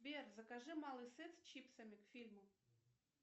сбер закажи малый сет с чипсами к фильму